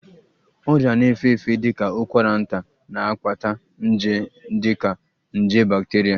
Ọrịa na-efe efe dị ka ụkwara nta na-akpata nje ndị dị ka nje bacteria